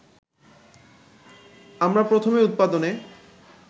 আমরা প্রথমে উৎপাদনে